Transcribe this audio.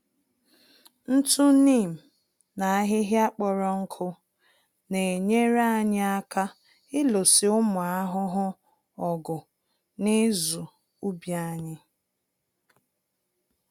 Ntụ Neem na ahịhịa kpọrọ nkụ n'enyere anyị aka ịlụso ụmụ ahụhụ ọgụ na ịzụ ubi anyị.